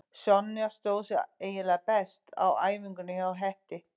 Sonja stóð sig eiginlega best á æfingunni hjá Hetti.